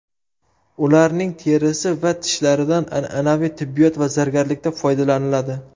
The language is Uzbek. Ularning terisi va tishlaridan an’anaviy tibbiyot va zargarlikda foydalaniladi.